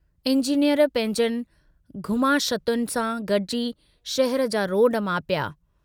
Engineer पंहिंजनि घुमाशतुनि सां गडिजी शहर जा रोड मापिया।